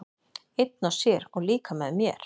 Einn og sér, og líka með mér.